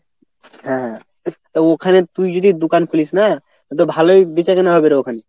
হ্যাঁ তা ওখানে তুই যদি দোকান খুলিস না তো ভালই বেচাকেনা হবে রে ওখানে।